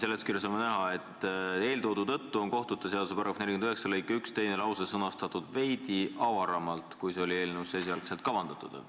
Seletuskirjast on ka näha, et eeltoodu tõttu on kohtute seaduse § 49 lõike 1 teine lause sõnastatud veidi avaramalt, kui see oli eelnõus esialgu kavandatud.